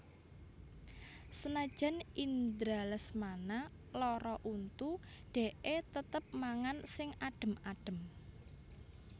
Senajan Indra Lesmana lara untu dekke tetep mangan sing adem adem